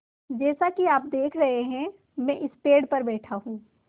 जैसा कि आप देख रहे हैं मैं इस पेड़ पर बैठा हूँ